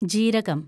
ജീരകം